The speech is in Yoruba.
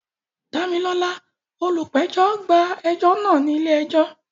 Damilola, olùpẹ̀jọ́, gba ẹjọ́ náà ní ilé ẹjọ́.